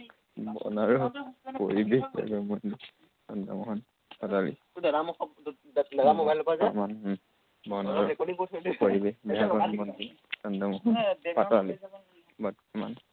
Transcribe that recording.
বন আৰু পৰিৱেশ বিভাগৰ মন্ত্ৰী চন্দ্ৰমোহন পাটোৱাৰী। বৰ্তমান বন আৰু পৰিৱেশ বিভাগৰ মন্ত্ৰী চন্দ্ৰমোহন পাটোৱাৰী। বৰ্তমান